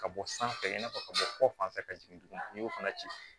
Ka bɔ sanfɛ i n'a fɔ ka bɔ kɔ fan fɛ ka jigin tugun n'i y'o fana ci